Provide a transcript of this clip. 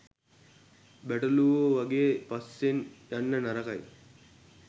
බැටළුවෝ වගේ පස්සෙන් යන්න නරකයි.